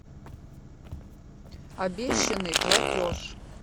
обещанный платеж